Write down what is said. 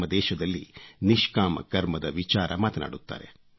ನಮ್ಮ ದೇಶದಲ್ಲಿ ನಿಷ್ಕಾಮ ಕರ್ಮದ ವಿಚಾರ ಮಾತನಾಡುತ್ತಾರೆ